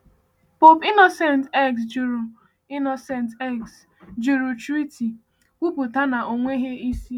Pope Innocent X jụrụ Innocent X jụrụ treaty, kwupụta na ọ nweghị isi.